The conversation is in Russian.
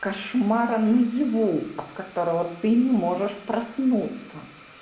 кошмара наяву от которого ты не можешь проснуться